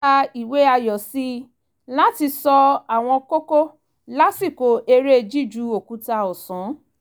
wọ́n ṣẹ̀dá ìwé ayò sí láti ṣọ́ àwọn kókó lásìkò eré jíju òkúta ọ̀sán